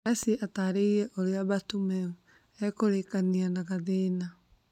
Messi atarĩrie ũria Bartomeu ekũrĩkania ta kathĩna.